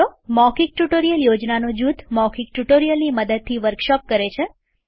મૌખિક ટ્યુટોરીયલ યોજનાનો જૂથ મૌખિક ટ્યુટોરીયલની મદદથી વર્કશોપ કરે છે